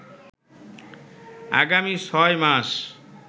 আগামী ছয় মাস